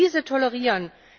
diese tolerieren.